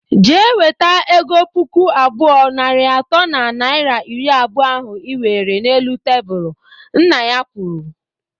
Jee weta ego puku abụọ, narị atọ na naira iri abụọ ahụ iwere n'elu tebụl! Nna ya kwuru